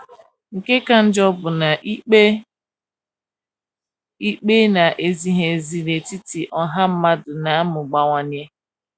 Nke ka njọ bụ na ikpe ikpe na - ezighị ezi n’etiti ọha mmadụ na - amụbawanye.